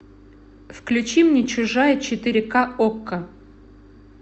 включи мне чужая четыре ка окко